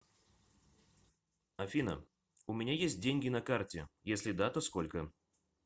афина у меня есть деньги на карте если да то сколько